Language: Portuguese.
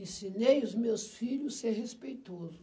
Ensinei os meus filho ser respeitoso.